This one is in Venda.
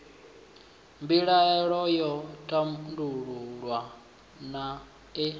mbilaelo yo tandululwa naa ee